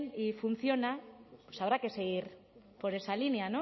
y funciona pues habrá que seguir por esa línea